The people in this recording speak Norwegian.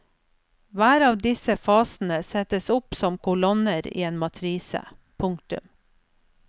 Hver av disse fasene settes opp som kolonner i en matrise. punktum